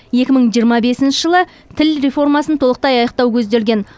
екі мың жиырма бесінші жылы тіл реформасын толықтай аяқтау көзделген